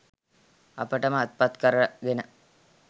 අපට ම අත්පත් කරගෙන